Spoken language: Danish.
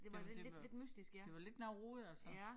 Det det var det var lidt noget rod altså